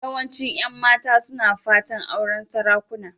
Yawancin 'yan mata suna fatan auren sarakuna.